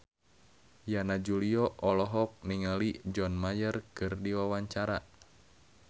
Yana Julio olohok ningali John Mayer keur diwawancara